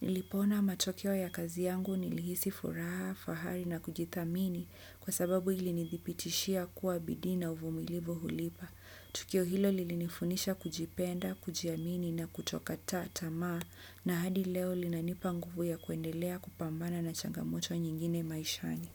Nilipoona matokeo ya kazi yangu nilihisi furaha, fahari na kujithamini kwa sababu ilinithipitishia kuwa bidii na uvumilivu hulipa. Tukio hilo lilinifunisha kujipenda, kujiamini na kutokata tamaa na hadi leo linanipa nguvu ya kuendelea kupambana na changamoto nyingine maishani.